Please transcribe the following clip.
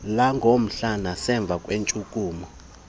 langokuhlwa nasemva kweentshukumo